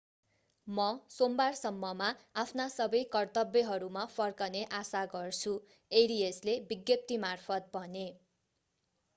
म सोमबारसम्ममा आफ्ना सबै कर्तव्यहरूमा फर्कने आशा गर्छु arias ले विज्ञप्तिमार्फत भने